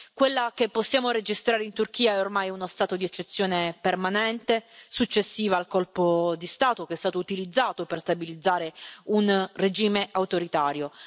Quello che possiamo registrare in Turchia è ormai uno stato di eccezione permanente successiva al colpo di Stato, che è stato utilizzato per stabilizzare un regime autoritario.